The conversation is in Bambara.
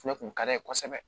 Fɛnɛ kun ka d'a ye kosɛbɛ